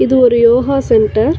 இது ஒரு yoga centre .